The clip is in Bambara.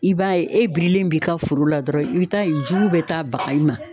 I b'a ye e birilen b'i ka foro la dɔrɔn i bi taa yen jugu bɛ taa baga i ma